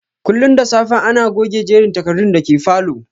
Kullum da safe ana goge jerin takardun da ke falow